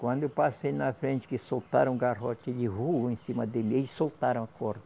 Quando eu passei na frente, que soltaram o garrote ele voou em cima dele, aí eles soltaram a corda.